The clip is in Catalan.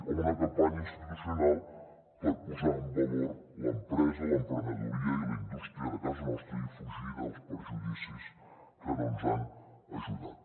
o una campanya institucional per posar en valor l’empresa l’emprenedoria i la indústria de casa nostra i fugir dels perjudicis que no ens han ajudat